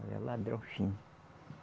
Ele é ladrão fino.